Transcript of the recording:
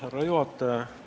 Härra juhataja!